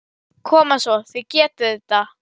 Koma svo, þið getið þetta!